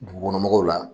Dugukɔnɔmɔgɔw la